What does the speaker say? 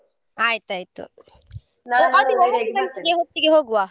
ಆಯ್ತ್ ಆಯ್ತು ಹೊತ್ತಿಗೆ ಹೋಗುವ.